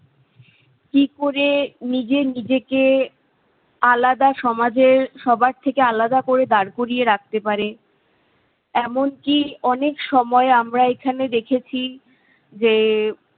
কি করে নিজে নিজেকে আলাদা সমাজের সবার থেকে আলাদা করে দাঁড় করিয়ে রাখতে পারে, এমনকি অনেক সময় আমরা এখানে দেখেছি যে